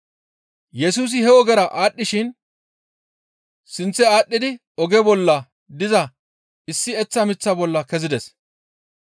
Yesusi he ogera aadhdhishin sinththe aadhdhidi oge bolla diza issi eththa miththa bolla kezides.